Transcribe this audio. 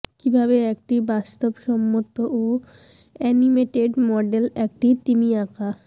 কিভাবে একটি বাস্তবসম্মত ও অ্যানিমেটেড মডেল একটি তিমি আঁকা